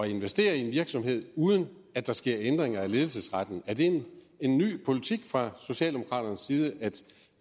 investere i en virksomhed uden at der sker ændringer af ledelsesretten er det en ny politik fra socialdemokraternes side at